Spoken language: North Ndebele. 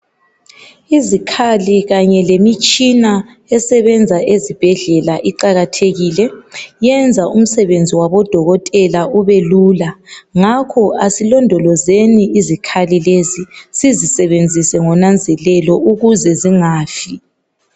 Izikhali kanye lemitshina esebenza ezibhedlela iqakathekile yenza umsebenzi wabo dokotela ubelula ngakho, asilondolozeni izikhali lezi sizisebenzise ngonanzelelo ukuze zingafi.